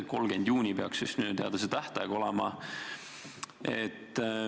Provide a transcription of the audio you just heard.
30. juuni peaks minu teada see tähtaeg olema.